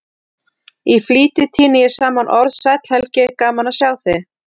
Í flýti tíni ég saman orð: Sæll Helgi, gaman að sjá þig